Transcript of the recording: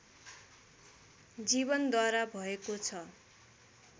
जीवनद्वारा भएको छ